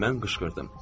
Mən qışqırdım.